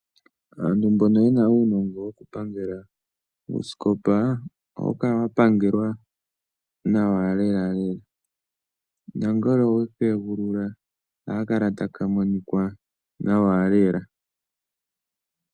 Aantu mbono ye na uunongo wokupangela uusikopa, ohawu kala wa pangelwa nawa lelalela. Nongele owe ka egulula ohaka kala taka monika nawa lela.